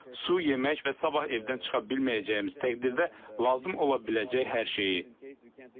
Su, yemək və sabah evdən çıxa bilməyəcəyimiz təqdirdə lazım ola biləcək hər şeyi.